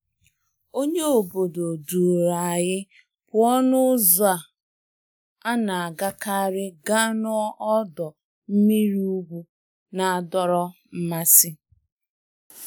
Onye obodo duru anyị pụọ n'ụzọ a na-agakarị gaa n'ọdọ mmiri ugwu na-adọrọ mmasị.